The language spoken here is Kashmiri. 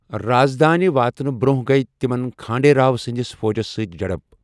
راز دٲنہِ واتنہٕ بروٛنہیہ گیہ تِمن کھانڈے راؤ سندِس فوجس سۭتۍ جھڈپ ۔